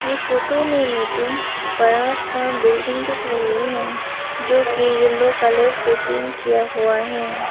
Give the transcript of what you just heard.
ये फोटो में मुझे बड़ा सा बिल्डिंग दिख रही है जो कि येलो कलर से पेंट किया हुआ है।